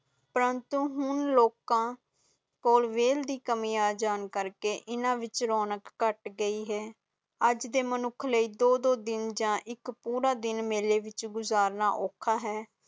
ਪ੍ਰੰਤੂ ਹੁਣ ਲੋਕਾਂ ਕੋਲ ਵੱਲ ਦੀ ਕਮੀ ਆਂ ਕਾਕੜੇ ਇੰਨਾ ਦੀ ਰੋਨਾਲ ਕੱਟ ਗਇਓ ਹੈ ਅਜੇ ਦੇ ਮੁਨੱਖ ਲੇਇ ਦੌੜ ਦੋ ਦਿਨ ਆ ਇੱਕ ਦਿਨ ਮੇਲੇ ਵਿਚ ਵਿਚ ਗੁਜ਼ਰਨਾ ਔਖਾ ਹੈ